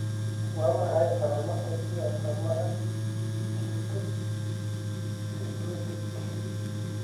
Waa maxay calaamadaha iyo astaamaha keratosis, seborrheic?